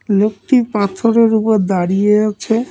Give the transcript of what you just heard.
লোকটি পাথরের উপর দাঁড়িয়ে আছে।